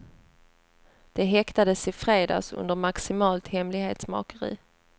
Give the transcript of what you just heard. De häktades i fredags under maximalt hemlighetsmakeri.